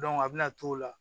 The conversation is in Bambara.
a bɛna t'o la